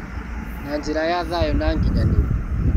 Na njĩra ya thayũ na ngĩnyanĩru